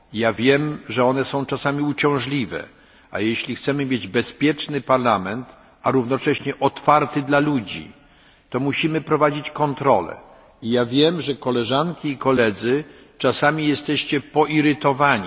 Wiem, że one są czasami uciążliwe, ale jeśli chcemy mieć bezpieczny Parlament, a równocześnie otwarty dla ludzi, to musimy prowadzić kontrole, choć wiem, że koleżanki i koledzy i ja sam czasami jesteście nimi poirytowani.